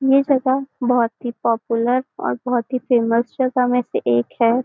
ये जगह बहुत ही पॉपुलर और बहुत ही फेमस जगह में से एक है।